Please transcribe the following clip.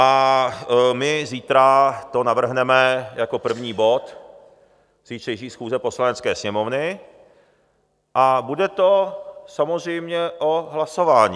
A my zítra to navrhneme jako první bod zítřejší schůze Poslanecké sněmovny a bude to samozřejmě o hlasování.